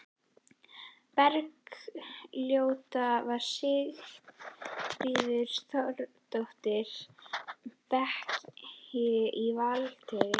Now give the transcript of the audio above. Bergljótar var Sigríður Þóroddsdóttir, beykis á Vatneyri.